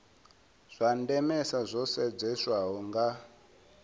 zwa ndemesa zwo sedzeswaho nga